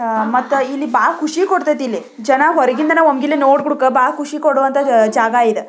ಮತ್ತೆ ಇದು ಬಾಲ ಖುಷಿ ಕೊಡುತತೆ ಇಲ್ಲಿ ಜನ ಹೊರಗಿಂದ ಹೊರಗೆ ನೋಡಕ್ಕೆ ಖುಷಿ ಕೊಡುವಂತಹ ಜಾಗ ಇದ.